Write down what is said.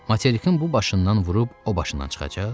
Materikin bu başından vurub o başından çıxacaq?